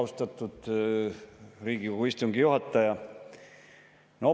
Austatud Riigikogu istungi juhataja!